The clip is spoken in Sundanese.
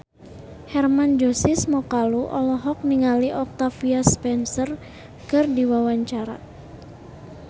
Hermann Josis Mokalu olohok ningali Octavia Spencer keur diwawancara